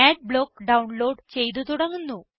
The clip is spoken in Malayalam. അഡ്ബ്ലോക്ക് ഡൌൺലോഡ് ചെയ്ത് തുടങ്ങുന്നു